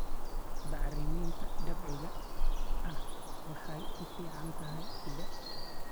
Bacriminta dabiiciga ahi waxay u fiican tahay ciidda.